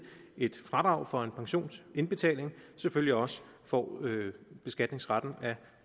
et fradrag for en pensionsindbetaling selvfølgelig også får beskatningsretten af